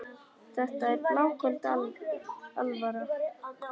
Þetta er bláköld alvara.